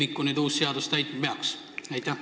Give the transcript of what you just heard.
Millist tühimikku uus seadus nüüd täitma peaks?